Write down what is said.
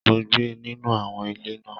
Mo gbé nínú àwọn ilé náà.